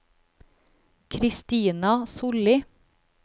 Kristina Sollie